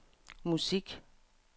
musik